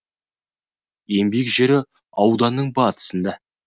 ең биік жері ауданның батысында